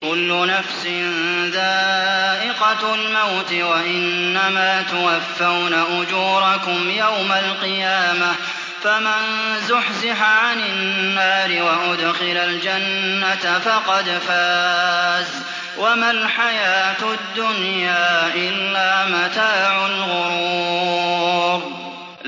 كُلُّ نَفْسٍ ذَائِقَةُ الْمَوْتِ ۗ وَإِنَّمَا تُوَفَّوْنَ أُجُورَكُمْ يَوْمَ الْقِيَامَةِ ۖ فَمَن زُحْزِحَ عَنِ النَّارِ وَأُدْخِلَ الْجَنَّةَ فَقَدْ فَازَ ۗ وَمَا الْحَيَاةُ الدُّنْيَا إِلَّا مَتَاعُ الْغُرُورِ